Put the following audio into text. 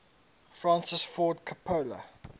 francis ford coppola